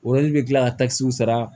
bɛ kila ka takisiw sara